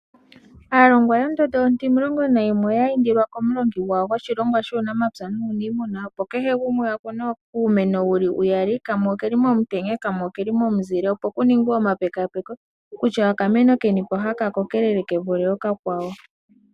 Aalongwa yondondo ontimulongo nayimwe oya indilwa komulongi gwawo goshilongwa shuunamapya nuuniimuna opo kehe gumwe akune uumeno wuli uyali kamwe okeli momutenya kamwe okeli momuzile opo kuningwe omapekapeko kutya okameno kenipo haka kokelele kevule okakwawo.